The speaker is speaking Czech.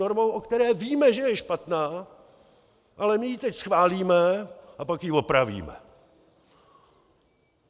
Normou, o které víme, že je špatná, ale my ji teď schválíme a pak ji opravíme.